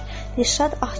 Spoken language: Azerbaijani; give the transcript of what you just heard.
Dirşad ah çəkdi.